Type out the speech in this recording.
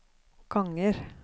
ganger